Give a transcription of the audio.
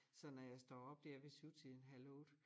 Så når jeg står op dér ved syvtiden halv 8